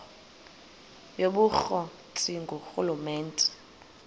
yobukro ti ngurhulumente